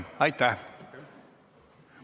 Aitäh kaasettekandjale!